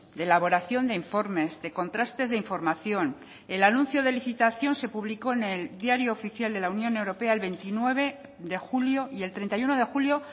de elaboración de informes de contrastes de información el anuncio de licitación se publicó en el diario oficial de la unión europea el veintinueve de julio y el treinta y uno de julio